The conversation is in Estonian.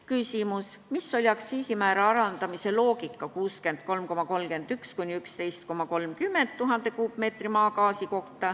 Küsimus: milline oli loogika, kui aktsiisimäära alandati 63,31 eurolt kuni 11,30 euroni 1000 m3 eest?